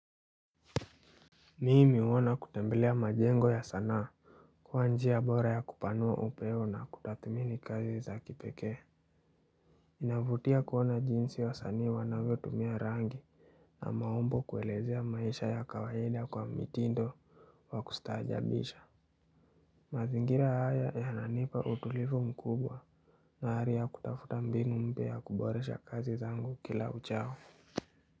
Mimi huona kutembelea majengo ya sanaa kuwa njia bora ya kupanua upewo na kutathmini kazi za kipekee. Inavutia kuona jinsi wasanii wanavyotumia rangi na maumbo kuelezea maisha ya kawaida kwa mitindo wa kustaajabisha. Mazingira haya yananipa utulivu mkubwa na ari ya kutafuta mbinu mpya ya kuboresha kazi zangu kila uchao.